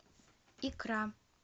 икра